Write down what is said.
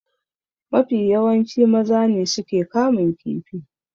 Mafi yawanci maza ne suke kamun kifi.